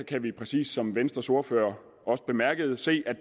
kan vi præcis som venstres ordfører også bemærkede se at